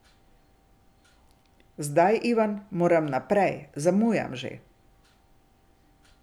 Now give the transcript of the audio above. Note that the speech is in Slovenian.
Zdaj, Ivan, moram naprej, zamujam že.